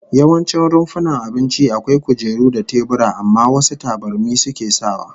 Yawancin rumfunan abinci akwai kujeru da tebura, amma wasu tabarmi suke sawa